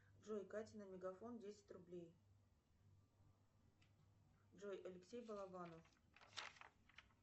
джой кате на мегафон десять рублей джой алексей балабанов